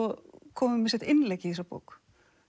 komið með sitt innlegg í þessa bók